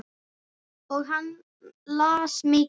Og hann las mikið.